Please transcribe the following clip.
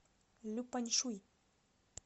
люпаньшуй